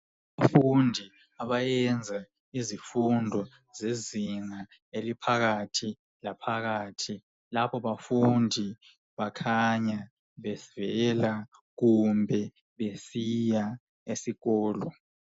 Abafundi abayenza izimfundo zezinga eliphakathi laphakhathi kukhaya bavela kumbe baya esikolweni.